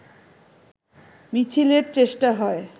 মিছিলের চেষ্টা হয়